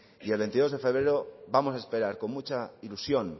y el veintidós de febrero vamos a esperar con mucha ilusión